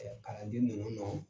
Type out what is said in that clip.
Ɛɛ kalanden ninnu nɔ